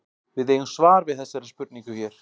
Við eigum svar við þessari spurningu hér.